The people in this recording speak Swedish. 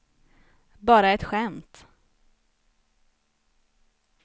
bara ett skämt